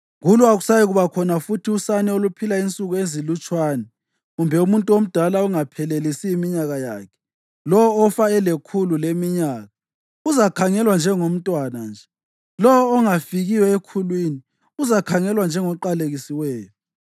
Kulo akusayikuba khona futhi usane oluphila insuku ezilutshwane kumbe umuntu omdala ongaphelelisi iminyaka yakhe; lowo ofa elekhulu leminyaka uzakhangelwa njengomntwana nje; lowo ongafikiyo ekhulwini uzakhangelwa njengoqalekisiweyo.